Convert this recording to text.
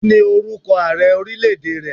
Kí ni orúkọ Ààrẹ ọrílẹ̀ èdè rẹ?